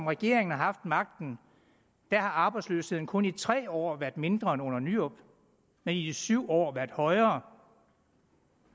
regeringen har haft magten har arbejdsløsheden kun i tre år været mindre end under nyrup og i syv år været højere